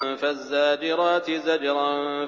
فَالزَّاجِرَاتِ زَجْرًا